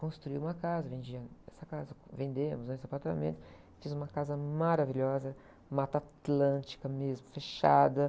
Construí uma casa, vendi essa casa, vendemos, né? Esse apartamento, fiz uma casa maravilhosa, Mata Atlântica mesmo, fechada.